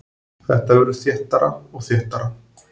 Þetta verður þéttara og þéttara.